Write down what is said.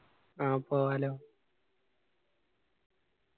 ആ പോവാലോ